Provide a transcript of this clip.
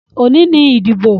Òní ni ìdìbò.